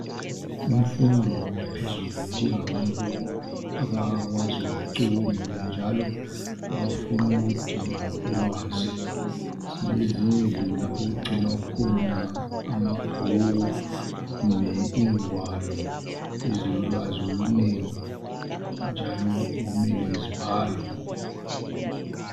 Imfundo yaphezulu idinga abantu abakwazi ukucubungula njalo abafunukudinga ulwazi , silezindlu lapho okugcibwa khona amabhuku kumbe ingwalo ezilolwazi okunengi njalo okumele zibalwe